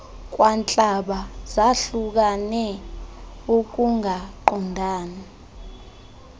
kwantlaba zahlukane ukungaqondani